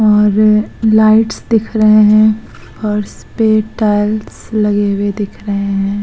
और लाइट्स दिख रहे हैं और उसपे टाइल्स लगे हुवे दिख रहे हैं।